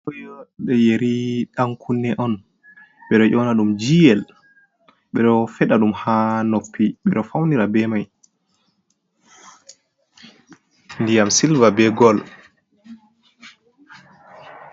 Yeri dankunne on bedo ƴona dum GL, bedo feda dum ha noppi bedo faunira be mai diyam silva be gol.